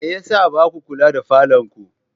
Me ya sa ba ku kula da falonku?